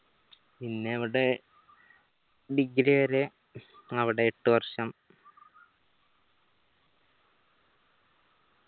പിന്നവിടെ degree വരെ അവിടെ എട്ട് വർഷം